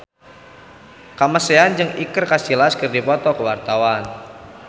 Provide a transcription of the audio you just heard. Kamasean jeung Iker Casillas keur dipoto ku wartawan